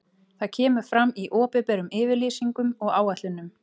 Það kemur fram í opinberum yfirlýsingum og áætlunum.